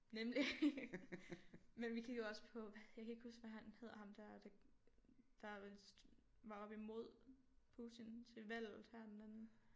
Nemlig men vi kiggede også på hvad jeg kan ikke huske hvad han hedder ham der der der vist var oppe imod Putin til valget her den anden